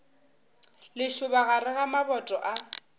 lešoba gare ga maboto a